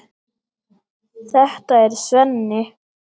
Þetta er Svenni.